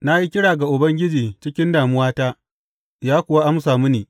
Na yi kira ga Ubangiji cikin damuwata, ya kuwa amsa mini.